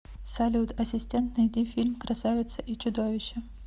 салют ассистент найди фильм красавица и чудовище